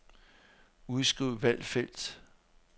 Udskriv valgte felt.